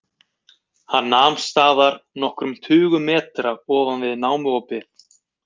Hann nam staðar nokkrum tugum metra ofan við námuopið.